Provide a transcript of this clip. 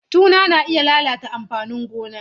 Tuna na iya lalata amfanin gona.